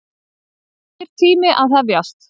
Nýr tími að hefjast.